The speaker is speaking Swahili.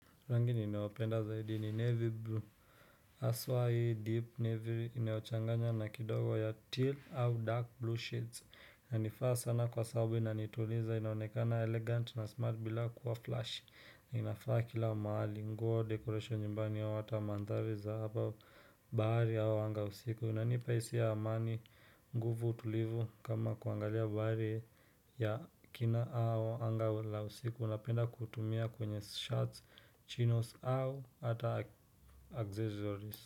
Rangi ninayoipenda zaidi ni navy blue haswa hii deep navy inayochanganywa na kidogo ya teal au dark blue shades na nifaa sana kwa sababu inanituliza inaonekana elegant na smart bila kuwa flash na inafaa kila maali nguo dekoration nyumbani yao hata wa maandhari za hapa bahari yao anga usiku unanipa hisia ya amani nguvu utulivu kama kuangalia bahari ya kina au anga la usiku unapenda kutumia kwenye shards chinos au ata accessories.